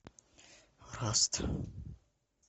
раст